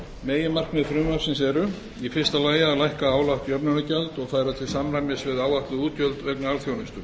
meginmarkmið frumvarpsins eru í fyrsta lagi að lækka álagt jöfnunargjald og færa til samræmis við áætluð útgjöld vegna alþjónustu